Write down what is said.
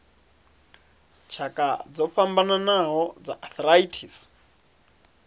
tshakha dzo fhambanaho dza arthritis